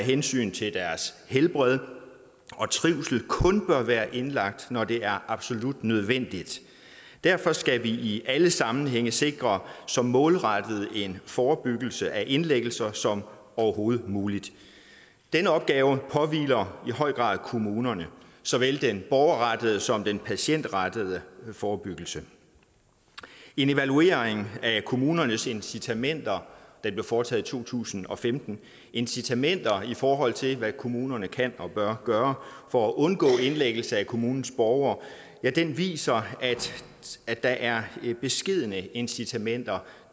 hensyn til deres helbred og trivsel kun bør være indlagt når det er absolut nødvendigt derfor skal vi i alle sammenhænge sikre så målrettet en forebyggelse af indlæggelser som overhovedet muligt denne opgave påhviler i høj grad kommunerne såvel den borgerrettede som den patientrettede forebyggelse en evaluering af kommunernes incitamenter der blev foretaget i to tusind og femten incitamenter i forhold til hvad kommunerne kan og bør gøre for at undgå indlæggelse af kommunens borgere viser at der er beskedne incitamenter